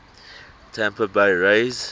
tampa bay rays